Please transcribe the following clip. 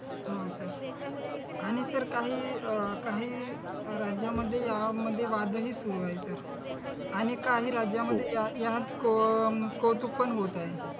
हा सर आणि सर काही अह काही राज्यांमध्ये यामध्ये वादही सुरू आहेत आणि काही राज्यांमध्ये यात कौतुक पण होत आहे.